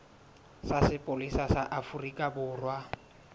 sa sepolesa sa afrika borwa